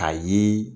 A ye